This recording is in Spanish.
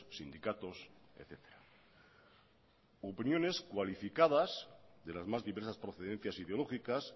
sindicatos etcétera opiniones cualificadas de las más diversas procedencias ideológicas